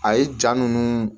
A ye jaa ninnu